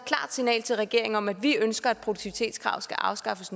signal til regeringen om at vi ønsker at produktivitetskravet skal afskaffes